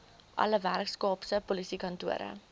alle weskaapse polisiekantore